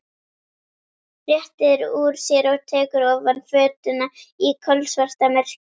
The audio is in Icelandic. Réttir úr sér og tekur ofan fötuna í kolsvartamyrkri.